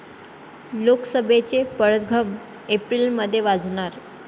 लोकसभेचे पडघम एप्रिलमध्ये वाजणार!